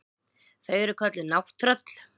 Þau eru kölluð nátttröll.